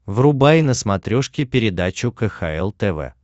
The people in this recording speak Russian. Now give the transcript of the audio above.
врубай на смотрешке передачу кхл тв